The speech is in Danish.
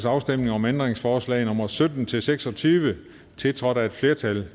afstemning om ændringsforslag nummer sytten til seks og tyve tiltrådt af et flertal